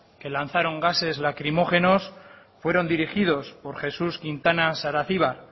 que dispararon gases lacrimógenos fueron dirigidos por jesús quintana saracibar